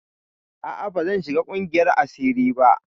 A'a bazan shiga ƙungiyar asiri ba.